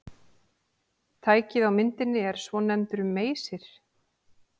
Tækið á myndinni er svonefndur meysir.